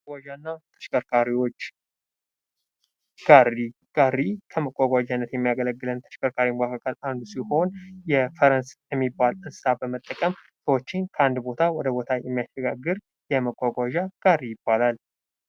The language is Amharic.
መጓጓዣ እና ተሽከርካሪዎች፦ ጋሪ፦ ጋሪ ከተሸከርካሪወች መካከል አንዱ ሲሆን ፈረስ የሚባል እንሰሳ በመጠቀም ሰዎችን ከአንድ ቦታ ወደ ሌላ ቦታ የሚያሸጋግር የሚጓጓዣ አይነት ነው።